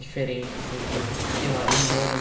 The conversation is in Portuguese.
Diferente assim que, sei lá, emana